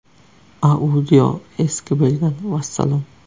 Audio eski bo‘lgan – vassalom.